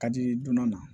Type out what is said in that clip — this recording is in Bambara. Ka di donna